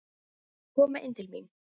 Við skulum koma inn til mín